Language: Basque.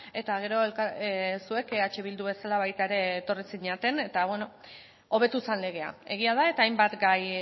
eta gero zuek eh bildu bezala baita ere etorri zineten eta hobetu zen legea egia da eta hainbat gai